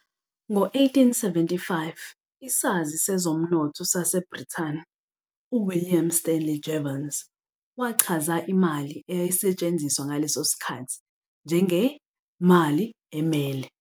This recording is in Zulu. Ngo-1875, isazi sezomnotho saseBrithani uWilliam Stanley Jevons wachaza imali eyayisetshenziswa ngaleso sikhathi njenge " mali emele ".